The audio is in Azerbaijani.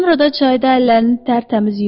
Sonra da çayda əllərini tərtəmiz yudu.